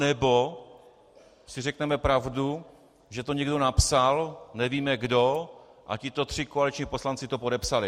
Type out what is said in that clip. Anebo si řekneme pravdu, že to někdo napsal, nevíme kdo, a tito tři koaliční poslanci to podepsali.